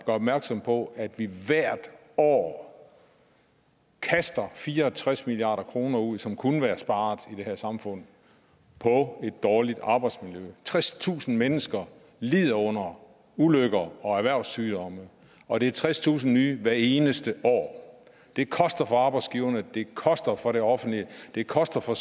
opmærksom på at vi hvert år kaster fire og tres milliard kroner ud som kunne være sparet i det her samfund på et dårligt arbejdsmiljø tredstusind mennesker lider under ulykker og erhvervssygdomme og det er tredstusind nye hvert eneste år det koster for arbejdsgiverne det koster for det offentlige det koster for